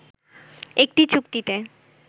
একটি চুক্তিতে